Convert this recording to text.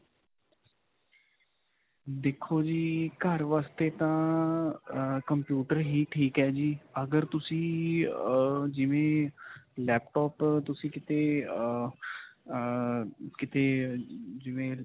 ਦੇਖੋ ਜੀ, ਘਰ ਵਾਸਤੇ ਤਾਂ ਅਅ computer ਹੀ ਠੀਕ ਹੈ ਜੀ, ਅਗਰ ਤੁਸੀਂ ਅਅ ਜਿਵੇਂ laptop ਤੁਸੀਂ ਕਿਤੇ ਅਅ ਅਅ ਕਿਤੇ ਜਿਵੇਂ.